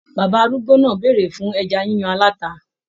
Bàbá arúgbó náà bèrè fún ẹja yíyan alata.